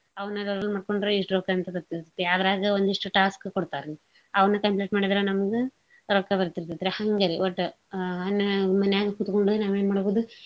ಅವ್ನ download ಮಾಡ್ಕೊಂಡ್ರ ಇಸ್ಟ್ ರೊಕ್ಕ ಅಂತ ಇರ್ತೇತ್ರಿ ಅದ್ರಾಗ ಒಂದಿಸ್ಟ task ಕೊಡ್ತಾರಿ ಅವ್ನ conduct ಮಾಡಿದ್ರ ನಮ್ಗ ರೊಕ್ಕ ಬರ್ತೀತೇತ್ರಿ ಹಂಗ ಒಟ್ಟ ಅ ನಾ~ ಮನ್ಯಾಗ ಕೂತ್ಗೊಂಡು ನಾವ್ ಎನ್ ಮಾಡ್ಬೋದು.